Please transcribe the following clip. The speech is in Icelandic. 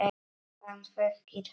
Hann þekkir hana.